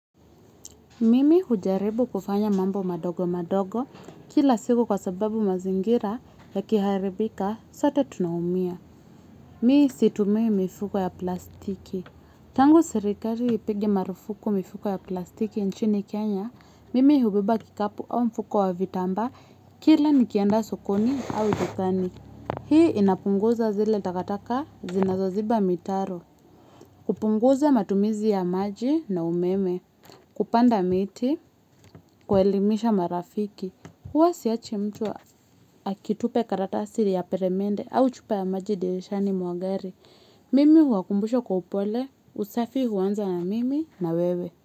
Mimi hujaribu kufanya mambo madogo madogo kila siku kwa sababu mazingira yakiharibika sote tunaumia. Mi situmii mifuko ya plastiki. Tangu serikari ipige marufuku mifuko ya plastiki nchini Kenya, mimi hubeba kikapu au mfuko wa vitambaa kila nikienda sokoni au vitani. Hii inapunguza zile takataka zinazoziba mitaro. Kupunguza matumizi ya maji na umeme. Kupanda miti, kuelimisha marafiki huwa siachi mtu akitupe karatasi ya peremende au chupa ya maji dirishani mwa gari. Mimi huwakumbusha kwa upole. Usafi huanza na mimi na wewe.